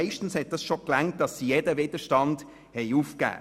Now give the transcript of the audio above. Meistens hat dies schon gereicht, um jeden Widerstand zu brechen.